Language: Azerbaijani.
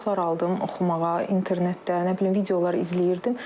Kitablar aldım oxumağa, internetdə, nə bilim videolar izləyirdim.